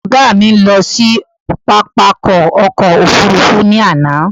Ọ̀gá mi lọ sí pápákọ̀ ọkọ̀ òfurufú ní àná